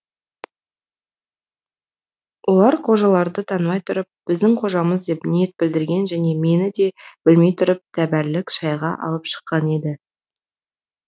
олар қожаларды танымай тұрып біздің қожамыз деп ниет білдірген және мені де білмей тұрып тәбәрлік шайға алып шыққан еді